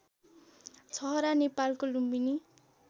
छहरा नेपालको लुम्बिनी